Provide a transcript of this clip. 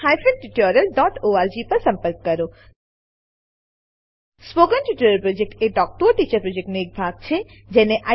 spoken tutorial project talk to a teacher પ્રોજેક્ટનો એક ભાગ છે